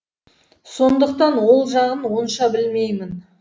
сондықтан ол жағын онша білмеймін